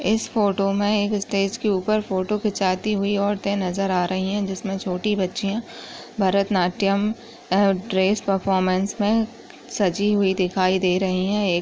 इस फोटो मे स्टेज के ऊपर फोटो खिचाती हुई औरते नजर आ रही है जिसमे छोटी बच्चियाँ भरतनाट्यम अ ड्रेश परफोमन्स मे सजी हुई दिखाई दे रही है।